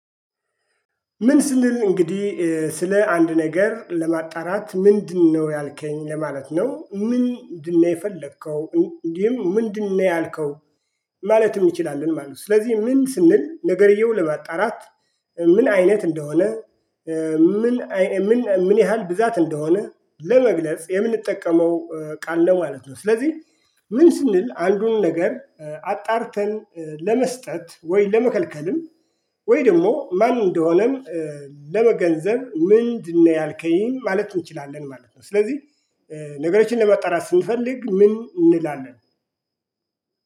ምን ስንል እንግዲህ ስለ አንድ ነገር ለማጣራት ምንድነው ያልከኝ? ለማለት ነው ምንድነው የፈለከው? እንዲህም ምንድነው ያልከው? ማለትም እንችላልን። ማለት ነው። ስለዚህ ምን ስንል ነገርየው ለማጣራት ምን አይነት እንደሆነ? ምን ምን ምን ያህል ብዛት? እንደሆነ ለመግለጽ የምንጠቀመው ቃል ነው። ማለት ነው። ስለዚህ ምን ስንል አንዱን ነገር አጣርተን ለመስጠት ወይ ለመከልከልም። ወይ ደግሞ ማን እንደሆነም ለመገንዘብ። ምንድነው ያልከኝ? ማለት እንችላለን። ማለት ነው። ስለዚህ ነገሮችን ለመጣራት ስንፈልግ ምን? እንላለን